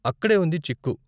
అక్కడే ఉంది చిక్కు.